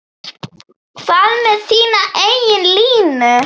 Hvað með þína eigin línu?